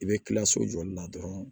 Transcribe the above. I bɛ kila so jɔli la dɔrɔn